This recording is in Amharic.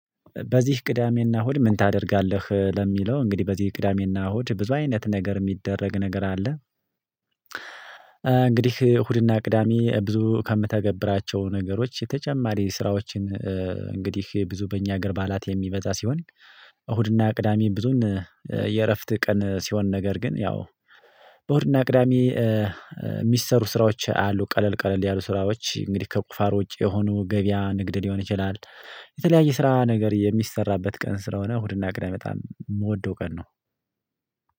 በዚህ ቅዳሜና እሁድ ምን ታደርጋለህ? ለሚለው እንግዲህ በዚህ ቅዳሜና እሁድ ብዙ አይነት ነገር የሚደረግ ነገር አለ። እንግዲህ እሁድና ቅዳሜ ብዙ ከምተገብራቸው ነገሮች የተጨማሪ ስራዎችን። እንግዲህ ብዙ በእኛ ሀገር በዓላት የሚበዛ ሲሆን። እሁድና ቅዳሜ ብዙን የእረፍት ቀን ሲሆን ነገር ግን ያው። በወርና ቅዳሜ የሚሰሩ ስራዎች አሉ ቀለል ቀለል ያሉ ስራዎች እንግዲህ ከቁፋር ውጪ የሆኑ ገበያ ንግድ ሊሆን ይችላል። የተለያየ ስራ ነገር የሚሰራበት ቀን ስለሆነ እሁድና ቅድሜ በጣም የምወደው ቀን ነው።